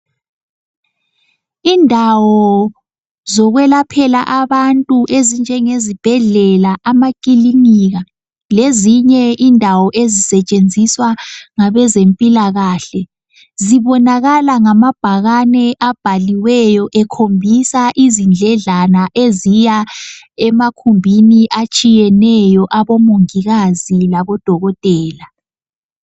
Indawo zokwelaphela abantu ezinjenge zibhedlela amakilinika lezinye indawo ezisetshenziswa ngabezempilakahle zibonakala ngamabhakane abhaliweyo ekhombisa izindledlana eziya emakhumbini atshiyeneyo abomongikazi labodokotela .